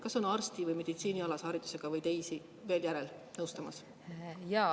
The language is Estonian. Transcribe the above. Kas on arsti‑ või meditsiiniharidusega veel järel, kes nõustavad?